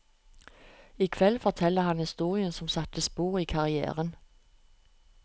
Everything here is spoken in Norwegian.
I kveld forteller han historien som satte spor i karrièren.